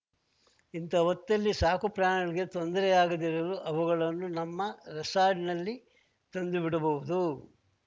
ಇಂಥಾ ಹೊತ್ತಲ್ಲಿ ಸಾಕುಪ್ರಾಣಿಗಳಿಗೆ ತೊಂದರೆಯಾಗದಿರಲು ಅವುಗಳನ್ನು ನಮ್ಮ ರೆಸಾರ್ಟ್‌ನಲ್ಲಿ ತಂದು ಬಿಡಬಹುದು